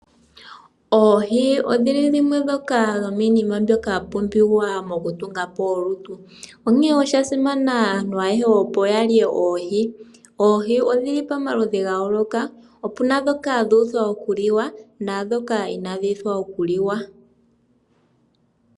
Ooohi odhili dhimwe dhoka dhomiinima mbyoka ya pumbiwa oku tungapo olutu onkee oshasimana aantu ayehe opo yalye oohi. Oohi odhili pamaludhi gayooloka, opuna dhoka dhuutha okuliwa naadhoka inadhi uuthwa okuliwa.